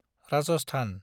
Rajasthan